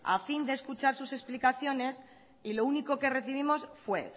a fin de escuchar sus explicaciones y lo único que recibimos fue